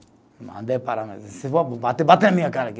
Eu mandei parar, mas bater, bate na minha cara aqui.